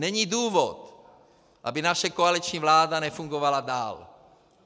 Není důvod, aby naše koaliční vláda nefungovala dál.